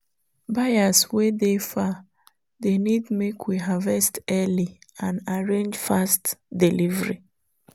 buyers wey dey far dey need make we harvest early and arrange fast delivery.